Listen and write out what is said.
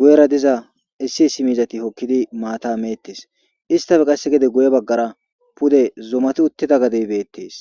guyera diza issi issi miizati hokkidi maata meettes istafe qasse gede guye baggara pude zomati uttida gadeybeettes